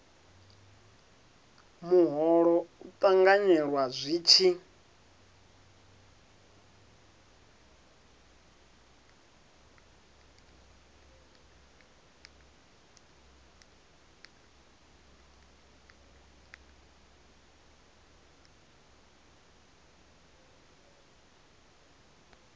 muholo u ṱanganyelwa zwi tshi